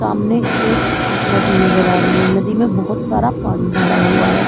सामने एक नदी नजर आ रही है नदी में बहुत सारा पानी भरा हुआ है।